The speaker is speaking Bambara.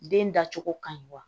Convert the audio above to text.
Den dacogo ka ɲi wa